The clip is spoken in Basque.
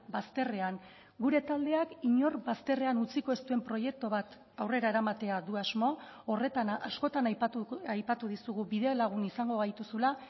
bazterrean gure taldeak inor bazterrean utziko ez duen proiektu bat aurrera eramatea du asmo horretan askotan aipatu dizugu bidelagun izango gaituzula